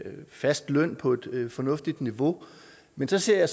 en fast løn på et et fornuftigt niveau men så ser jeg